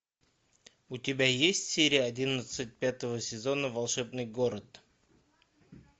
у тебя есть серия одиннадцать пятого сезона волшебный город